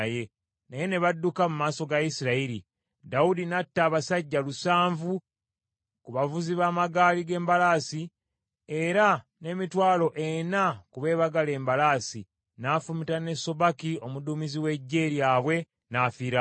Naye ne badduka mu maaso ga Isirayiri, Dawudi n’atta abasajja lusanvu ku bavuzi b’amagaali g’embalaasi, era n’emitwalo ena ku beebagala embalaasi, n’afumita ne Sobaki omuduumizi w’eggye lyabwe n’afiirawo.